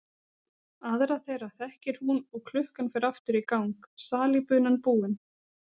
Aðra þeirra þekkir hún og klukkan fer aftur í gang, salíbunan búin.